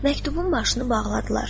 Məktubun başını bağladılar.